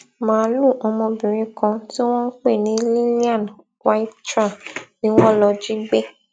máàlùú ọmọbìnrin kan tí wọn ń pè ní lillian waithra ni wọn lọọ jí gbé